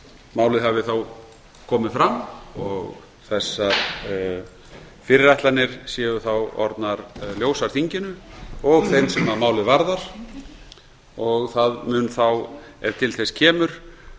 málið hafi þá komið fram og þessar fyrirætlanir séu þá orðnar ljósar þinginu og þeim sem málið varðar og það mun þá ef til þess kemur